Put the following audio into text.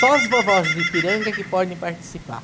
Só as vovós do Ipiranga que podem participar.